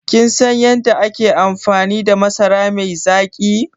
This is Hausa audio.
Kin san yadda ake amfani da masara mai zaƙi?